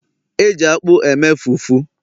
e ji akpu e mee fufu